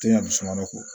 Tɛ ka du suma ko